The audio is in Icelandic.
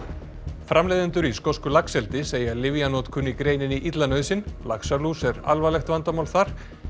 framleiðendur í skosku laxeldi segja lyfjanotkun í greininni illa nauðsyn laxalús er alvarlegt vandamál þar